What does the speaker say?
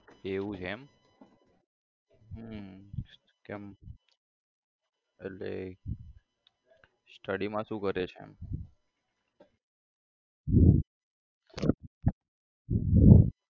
એવું છે એમ હમ કેમ એટલે study માં શું કરે છે?